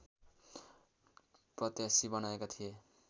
प्रत्याशी बनाएका थिए